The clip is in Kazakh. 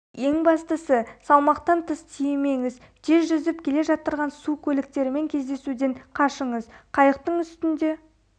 ең бастысы салмақтан тыс тиемеңіз тез жүзіп келе жатырған су көліктерімен кездесуден қашығыз қыйықтың үстінде